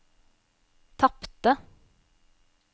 tapte